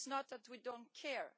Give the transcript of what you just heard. It is not that we do not care.